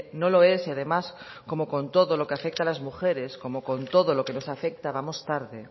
no lo es y además como con todo lo que afecta a las mujeres como con todo lo que nos afecta vamos tarde